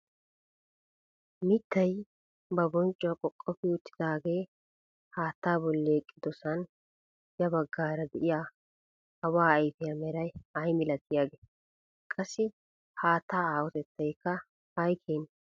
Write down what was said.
Mittay ba bonccuwa qoqofi uttidagee haattaa bolli eqqidosan ya baggaara de'iyaa awa ayfiyaa meray ay milatiyaagee? Qassi haattaa aahotettaykka ayi keenee?